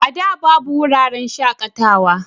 A da babu wuraren shakatawa